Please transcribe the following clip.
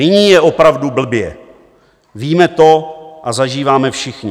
Nyní je opravdu blbě, víme to a zažíváme všichni.